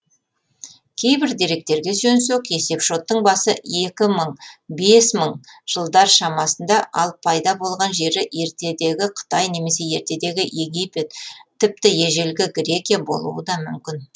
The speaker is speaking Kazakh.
кейбір деректерге сүйенсек есепшоттың басы екі мың бес мың жылдар шамасында ал пайда болған жері ертедегі қытай немесе ертедегі египет тіпті ежелгі грекия болуы да мүмкін